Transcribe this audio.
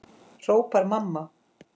hrópar mamma.